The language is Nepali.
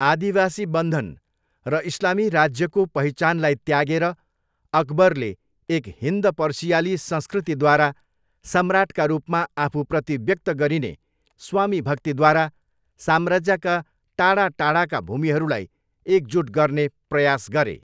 आदिवासी बन्धन र इस्लामी राज्यको पहिचानलाई त्यागेर अकबरले एक हिन्द पर्सियाली संस्कृतिद्वारा सम्राट्का रूपमा आफूप्रति व्यक्त गरिने स्वामीभक्तिद्वारा साम्राज्यका टाढा टाढाका भूमिहरूलाई एकजुट गर्ने प्रयास गरे।